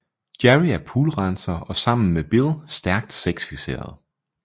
Jerry er poolrenser og sammen med Bill stærkt sexfikseret